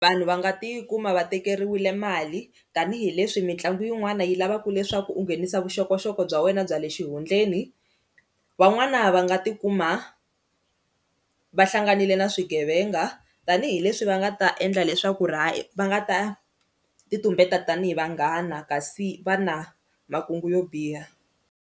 Vanhu va nga tikuma va tekeriwile mali tanihileswi mitlangu yin'wana yi lavaka leswaku u nghenisa vuxokoxoko bya wena bya le xihundleni, van'wana va nga tikuma va hlanganile na swigevenga tanihileswi va nga ta endla leswaku va nga ta ti tumbeta tanihi vanghana kasi va na makungu yo biha.